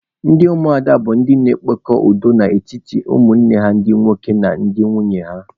Ndị ụmụada bụ ndị na-ekpe udo n'etiti ụmụnne ha ndị nwoke na ndị nwunye ha.